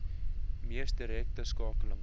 mees direkte skakeling